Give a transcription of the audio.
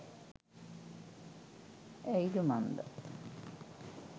ඇයිද මන්දා